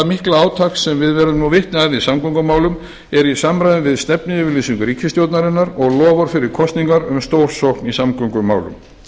mikla átak sem við verðum nú vitni að í samgöngumálum er í samræmi við stefnuyfirlýsingu ríkisstjórnarinnar og loforð fyrir kosningar um stórsókn í samgöngumálum